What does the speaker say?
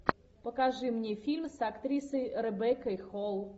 покажи мне фильм с актрисой ребеккой холл